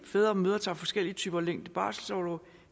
fædre og mødre tager forskellige typer og længder barselsorlov